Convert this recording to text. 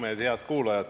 Head kuulajad!